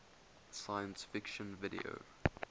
science fiction video